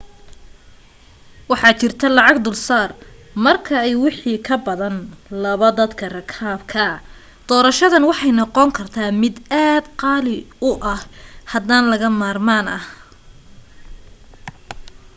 waxaa jirta lacag dulsaar marka ay wixii ka badan laba dadka rakaabka doorashadan waxay noqon karta mid aad qaali u hadan laga maarmaan ah